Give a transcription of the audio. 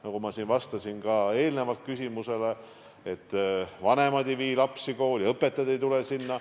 Nagu ma siin ka eelnevalt küsimusele vastates ütlesin, vanemad ei vii lapsi kooli, õpetajad ei tule sinna.